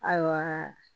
Ayiwa